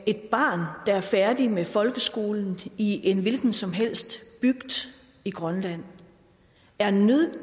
et barn der er færdig med folkeskolen i en hvilken som helst bygd i grønland er nødt